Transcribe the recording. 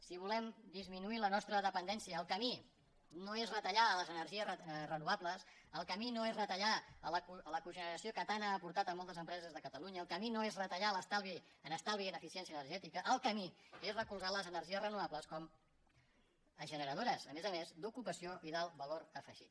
si volem disminuir la nostra dependència el camí no és retallar les energies renovables el camí no és retallar la cogeneració que tant ha aportat a moltes empreses de catalunya el camí no és retallar en estalvi i en eficiència energètica el camí és recolzar les energies renovables com a generadores a més a més d’ocupació i d’alt valor afegit